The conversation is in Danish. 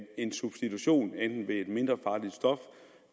en substitution enten ved et mindre farligt stof